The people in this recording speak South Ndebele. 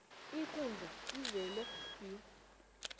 ikundla izele swi